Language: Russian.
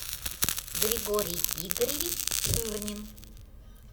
григорий игоревич ширнин